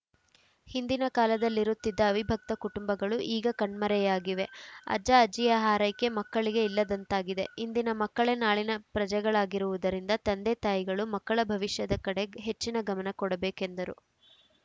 ಹಿಂದಿನ ಕಾಲದಲ್ಲಿರುತ್ತಿದ್ದ ಅವಿಭಕ್ತ ಕುಟುಂಬಗಳು ಈಗ ಕಣ್ಮರೆಯಾಗಿವೆ ಅಜ್ಜಅಜ್ಜಿಯ ಹಾರೈಕೆ ಮಕ್ಕಳಿಗೆ ಇಲ್ಲದಂತಾಗಿದೆ ಇಂದಿನ ಮಕ್ಕಳೇ ನಾಳಿನ ಪ್ರಜೆಗಳಾಗಿರುವುದರಿಂದ ತಂದೆತಾಯಿಗಳು ಮಕ್ಕಳ ಭವಿಷ್ಯದ ಕಡೆ ಹೆಚ್ಚಿನ ಗಮನ ಕೊಡಬೇಕೆಂದರು